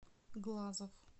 глазов